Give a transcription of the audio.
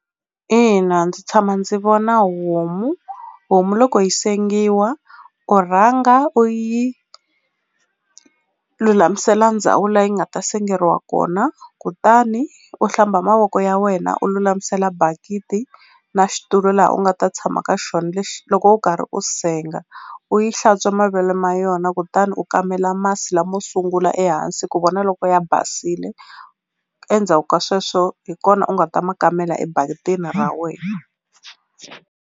Ina ndzi tshama ndzi vona homu homu loko yi sengiwa u rhanga u yi lulamisela ndhawu la yi nga ta sengeriwa kona kutani u hlamba mavoko ya wena u lulamisela bakiti na xitulu laha u nga ta tshama ka xona lexi loko u karhi u senga u yi hlantswa mavele ma yona kutani u kamela masi lamo sungula ehansi ku vona loko ya basile endzhaku ka sweswo hi kona u nga ta ma kamela ebakitini ra wena.